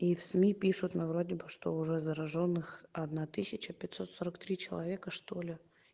и в сми пишут на вроде бы что уже заражённых одна тысяча пятьсот сорок три человека что ли